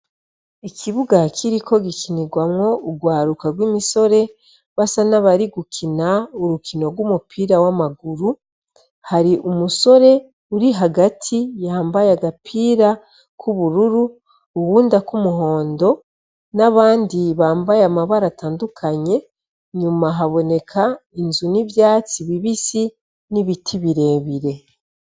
Ikibuga hakiriko gikinirwamwo urwaruka rw'imisore basa n'abari gukina urukino rw'umupira w'amaguru hari umusore uri hagati yambaye agapira kw'ubururu uwundakw'umuhondo n'abandi bambaye amabara atandukanye nyuma mahaboneka inzu n'ivyatsi bibisi n'ibiti birebire.